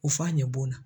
U f'a ɲɛ bɔnna